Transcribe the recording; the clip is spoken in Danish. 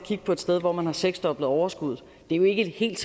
sted hvor man har seksdoblet overskuddet det er jo ikke helt